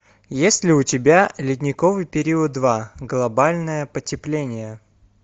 есть ли у тебя ледниковый период два глобальное потепление